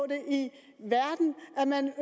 at man